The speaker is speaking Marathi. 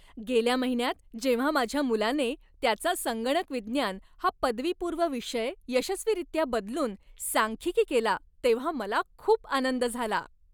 गेल्या महिन्यात जेव्हा माझ्या मुलाने त्याचा संगणक विज्ञान हा पदवीपूर्व विषय यशस्वीरित्या बदलून सांख्यिकी केला तेव्हा मला खूप आनंद झाला.